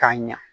K'a ɲa